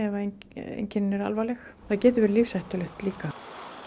ef að einkennin eru alvarleg það getur verið lífshættulegt líka